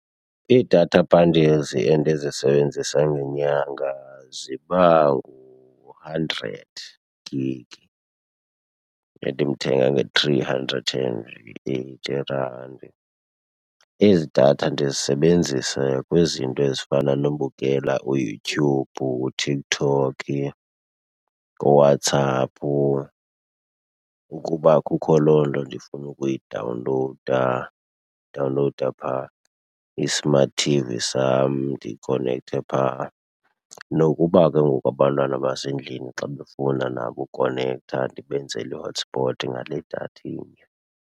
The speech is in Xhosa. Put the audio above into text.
Ii-data bundles endizisebenzisayo ngenyanga ziba ngu-hundred gig endimthenga nge-three hundred and eighty rand. Ezi datha ndizisebenzisa kwizinto ezifana nobukela uYouTube, uTikTok, kuWhatsApp, ukuba kukho loo nto ndifuna ukuyidawunlowuda udawunlowuda phaa i-smart T_V sam ndikonekthe phaa, nokuba ke ngoku abantwana basendlini xa befuna nabo ukukonektha ndibenzele i-hotspot ngale datha inye.